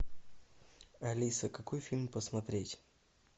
алиса какой фильм посмотреть